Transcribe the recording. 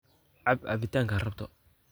Caab cabitanka raabto.